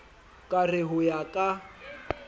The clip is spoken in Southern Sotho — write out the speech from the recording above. ka re ho ya ka